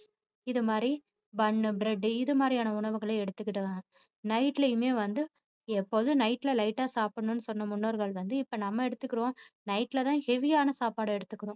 இது மாதிரி bun bread உ இது மாதிரியான உணவுகளை எடுத்துகிடுவாங்க. night லயுமே வந்து எப்போதும் night ல light ஆ சாப்பிடணும்னு சொன்ன முன்னோர்கள் வந்து இப்போ நம்ம எடுத்துக்குறோம் night ல தான் heavy ஆன சாப்பாடு எடுத்துக்குறோம்